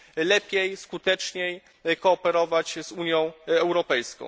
lepiej i skuteczniej kooperować z Unią Europejską.